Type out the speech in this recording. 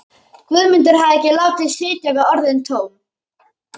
Guðmundur hafði ekki látið sitja við orðin tóm.